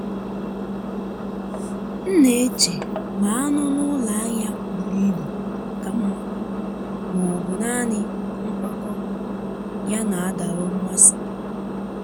M na-eche ma anụ n’ụlọ ahịa buru ibu ka mma ma ọ bụ naanị nkwakọ ya na-adọrọ mmasị.